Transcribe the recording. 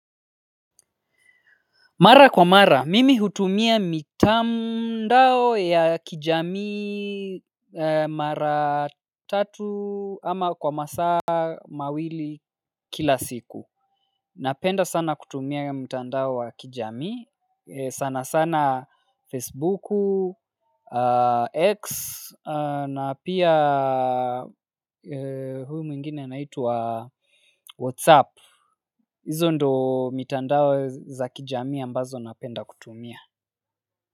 Mara kwa mara, mimi hutumia mitandao ya kijamii mara tatu ama kwa masaa mawili kila siku. Napenda sana kutumia mtandao wa kijamii, sana sana Facebooku, X na pia huyu mwingine anaitwa WhatsApp. Hizo ndo mitandao za kijamii ambazo napenda kutumia.